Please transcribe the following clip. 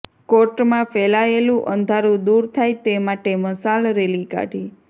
કોર્ટમાં ફેલાયેલું અંધારૂં દૂર થાય તે માટે મશાલ રેલી કાઢી